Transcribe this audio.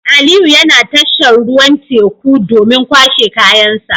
Aliyu yana tashar tashar ruwan teku domin kwashe kayansa